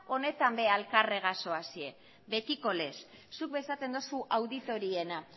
honetan ere alkarregaz zoazte betikolez zuk esaten dozu auditoriena